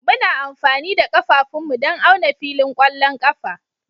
Muna amfani da ƙafafunmu don auna filin ƙwallon ƙafa